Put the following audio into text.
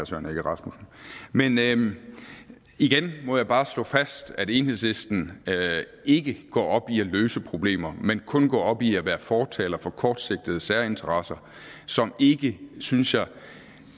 søren egge rasmussen men men igen må jeg bare slå fast at enhedslisten ikke går op i at løse problemer man kun går op i at være fortaler for kortsigtede særinteresser som ikke synes jeg